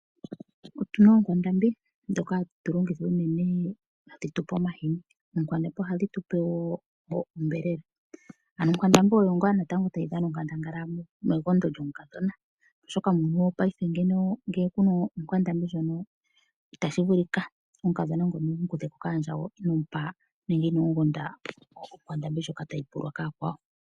Otu na oonkwandambi ndhoka hadhi tu pe omahini. Oonkwandambi ohadhi tu pe wo onyama. Onkwandambi oyo ngaa tayi dhana onkandangala megondo lyomukadhona, oshoka muuyuni wopaife ngele ku na onkwandambi itashi vulika omukadhona wu mu kuthe ko kaandjawo inoo mu gonda onkwandambi ndjoka tayi pulwa kaakwawo.